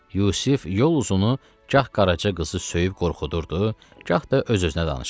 Yusif yol uzunu gah Qaraca qızı söyüb qorxudurdu, gah da öz-özünə danışırdı.